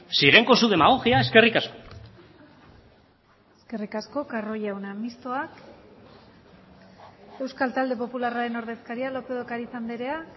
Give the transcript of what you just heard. siguen con su demagogia eskerrik asko eskerrik asko carro jauna mistoak euskal talde popularraren ordezkaria lópez de ocariz andrea